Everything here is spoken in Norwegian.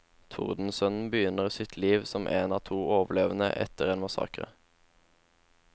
Tordensønnen begynner sitt liv som en av to overlevende efter en massakre.